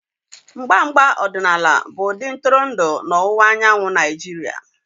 Mgba mgba ọdịnaala bụ-ụdị ntụrụndụ na ọwụwa anyanwụ Naijiria.